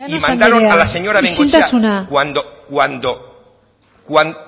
cuando llanos andrea isiltasuna y mandaron a la señora bengoechea